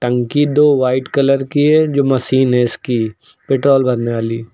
टंकी दो white colour की है जो मशीन है इसकी पेट्रोल भरने वाली।